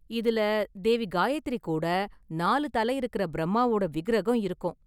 இதுல தேவி காயத்ரி கூட நாலுதலை இருக்குற பிரம்மாவோட விக்கிரகம் இருக்கும்.